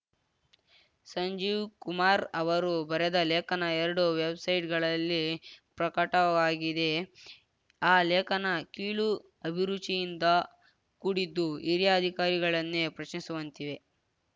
ಸಂಜೀವ್‌ ಕುಮಾರ್‌ ಅವರು ಬರೆದ ಲೇಖನ ಎರಡು ವೆಬ್‌ಸೈಟ್‌ಗಳಲ್ಲಿ ಪ್ರಕಟವಾಗಿದೆ ಆ ಲೇಖನ ಕೀಳು ಅಭಿರುಚಿಯಿಂದ ಕೂಡಿದ್ದು ಹಿರಿಯ ಅಧಿಕಾರಿಗಳನ್ನೇ ಪ್ರಶ್ನಿಸುವಂತಿವೆ